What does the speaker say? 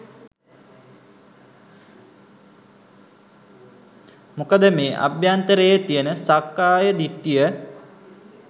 මොකද මේ අභ්‍යන්තරයේ තියෙන සක්කාය දිට්ඨිය